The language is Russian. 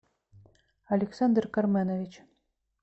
александр карменович